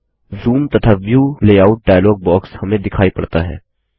zoom तथा view layout dialog box हमें दिखाई पड़ता है